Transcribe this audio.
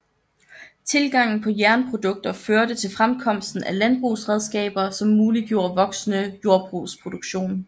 Tilgangen på jernprodukter førte til fremkomsten af landsbrugsredskaber som muliggjorde voksende jordbrugsproduktion